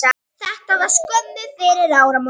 Þetta var skömmu fyrir áramót.